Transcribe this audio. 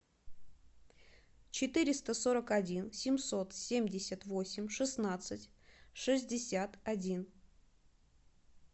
четыреста сорок один семьсот семьдесят восемь шестнадцать шестьдесят один